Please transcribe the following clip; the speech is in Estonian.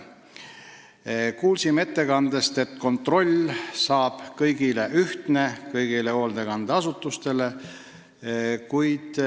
Kuulsime ettekandest, et kontroll kõigi hoolekandeasutuste üle tuleb ühtne.